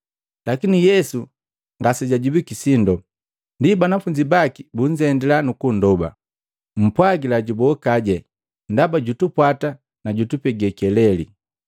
Lakini Yesu ngasejajibwiki sindo. Ndi banafunzi baki bunzendila nukundoba, “Mpwagila jubokaje ndaba jutupwata na jutupege keleli!”